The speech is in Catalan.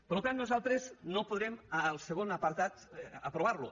per tant nosaltres no podrem el segon apartat aprovar lo